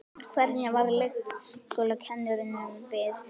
Hvernig varð leikskólakennurunum við?